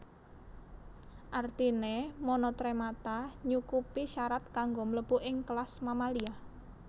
Artiné monotremata nyukupi syarat kanggo mlebu ing kelas Mamalia